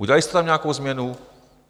Udělali jste tam nějakou změnu?